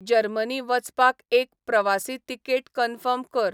Germany वचपाक एक प्रवासी तिकेट कन्फर्म कर